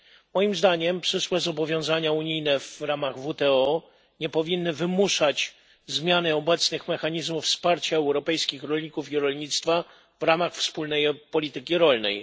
Moim zdaniem przyszłe zobowiązania unijne w ramach WTO nie powinny wymuszać zmiany obecnych mechanizmów wsparcia europejskich rolników i rolnictwa w ramach Wspólnej Polityki Rolnej.